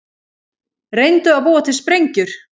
Reyndu að búa til sprengjur